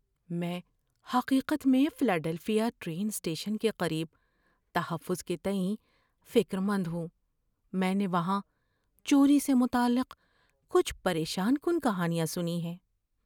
میں حقیقت میں فلاڈیلفیا ٹرین اسٹیشن کے قریب تحفظ کے تئیں فکر مند ہوں۔ میں نے وہاں چوری سے متعلق کچھ پریشان کن کہانیاں سنی ہیں۔